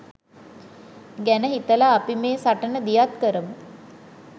ගැන හිතලා අපි මේ සටන දියත් කරමු.